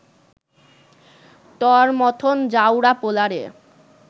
তর মথন জাউরা পোলারে